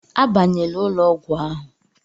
Abanyela ụlọ ọgwụ ahụ!